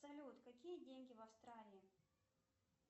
салют какие деньги в австралии